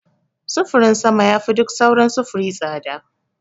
Sufurin sama yafi duk sauran sufuri tsada.